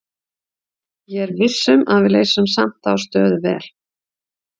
Ég er viss um að við leysum samt þá stöðu vel.